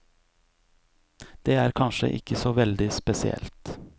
Det er kanskje ikke så veldig spesielt.